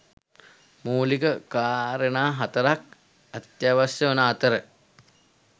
මූලික කාරණා හතරක් අත්‍යවශ්‍ය වන අතර